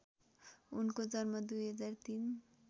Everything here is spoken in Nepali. उनको जन्म २००३